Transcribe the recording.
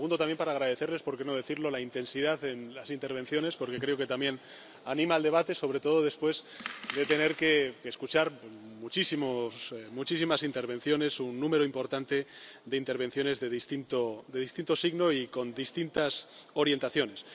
segundo, también agradecerles —por qué no decirlo— la intensidad en las intervenciones, porque creo que también anima el debate, sobre todo después de tener que escuchar muchísimas intervenciones, un número importante de intervenciones de distinto signo y de distintas orientaciones.